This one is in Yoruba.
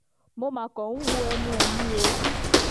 mo mà kàn ń wo ẹnu ẹ̀ ni o